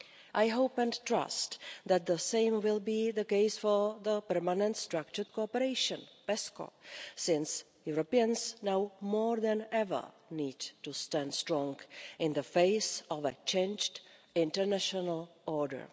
I hope and trust that the same will be the case for the permanent structured cooperation since Europeans, now more than ever, need to stand strong in the face of a changed international order.